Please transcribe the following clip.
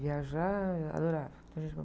Viajar eu adorava.